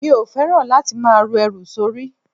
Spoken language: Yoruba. Mi ò fẹ́ràn láti máa ru ẹrù sórí.